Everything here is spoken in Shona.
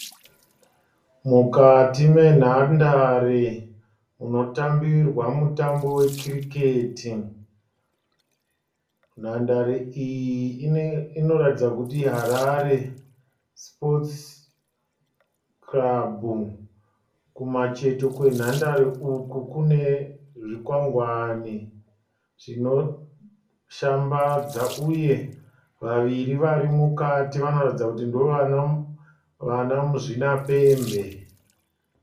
Mukati menhandare inotambirwa mutambo wecricket. Nhandare iyi inoratidza kuti iHarare Sports Club. Kumacheto kwenhandare uku kune zvikwangwani zvinoshambadza uye vaviri varimukati vanoratidza kuti ndovana muzvinapembe.